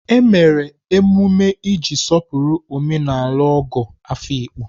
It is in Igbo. E mere emume iji sọpụrụ omenala Ogo Afikpo.